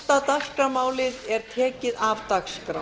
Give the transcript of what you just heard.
tólfta dagskrármálið er tekið af dagskrá